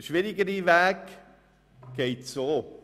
Der schwierigere Weg verläuft so: